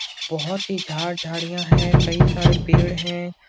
बहुत ही झाड़ झाड़ियां हैं। कई सारे पेड़ हैं।